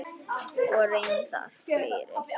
Og reyndar fleiri.